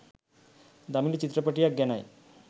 දමිළ චිත්‍රපටියක් ගැනයි